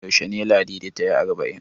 Yaushe ne Ladi ta yi arba'in?